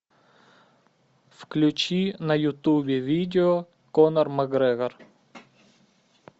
включи на ютубе видео конор макгрегор